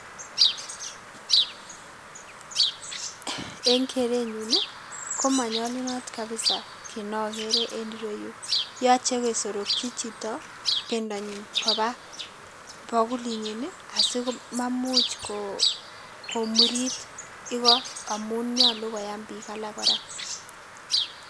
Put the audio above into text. En kerenyun ii komonyolunot kabisaa kiit nokeree en ireyuu, yoche kesorokyi chito bendanyin kobaa bokulinyin asimamuch komuriit ikoo amun nyoluu koyam biik alak kora.